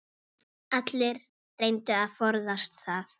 Allir reyndu að forðast það.